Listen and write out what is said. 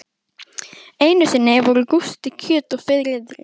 Einu sinni voru Gústi kjöt og Friðrik